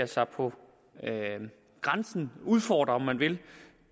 sig på grænsen af eller udfordrer om man vil